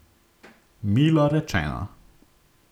Milo rečeno.